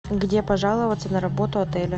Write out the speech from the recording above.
где пожаловаться на работу отеля